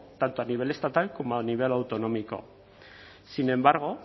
tanto a nivel estatal como a nivel autonómico sin embargo